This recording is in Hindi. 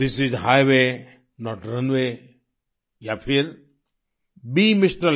this is highway not runway या फिर बीई एमआर